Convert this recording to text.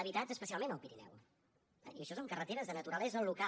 habitats especialment al pirineu i això són carreteres de naturalesa local